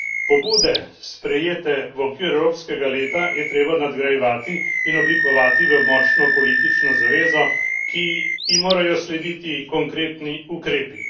Pobude, sprejete v okviru evropskega leta, je treba nadgrajevati in oblikovati v močno politično zavezo, ki ji morajo slediti konkretni ukrepi.